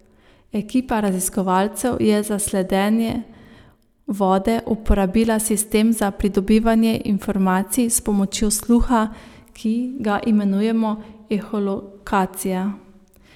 Ekipa raziskovalcev je za sledenje vode uporabila sistem za pridobivanje informacij s pomočjo sluha, ki ga imenujemo eholokacija.